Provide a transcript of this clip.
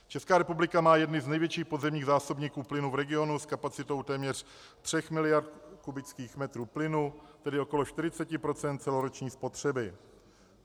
Česká republika má jedny z největších podzemních zásobníků plynu v regionu s kapacitou téměř 3 miliard kubických metrů plynu, tedy okolo 40 % celoroční spotřeby.